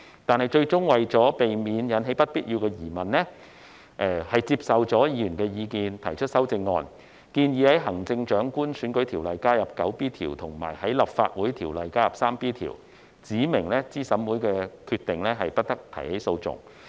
但是，最終為了避免引起不必要的疑問，政府接受了議員的意見提出修正案，建議在《行政長官選舉條例》加入第 9B 條，以及在《立法會條例》加入第 3B 條，指明對資審會的決定，不得提起訴訟。